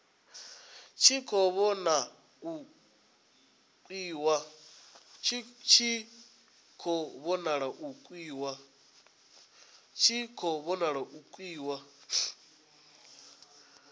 tshi khou vhona u pfukiwa